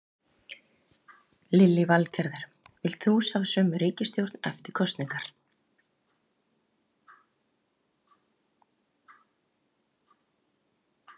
Lillý Valgerður: Vilt þú sjá sömu ríkisstjórn eftir kosningar?